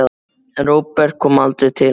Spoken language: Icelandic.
En Róbert kom aldrei til hennar.